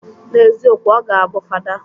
N'eziokwu, ọ ga abụ fada.